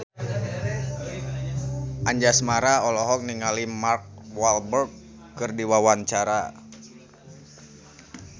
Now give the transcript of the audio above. Anjasmara olohok ningali Mark Walberg keur diwawancara